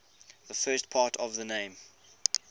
the first part of the name